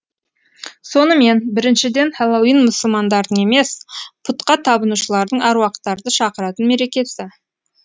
сонымен біріншіден хэллоуин мұсылмандардың емес пұтқа табынушылардың әруақтарды шақыратын мерекесі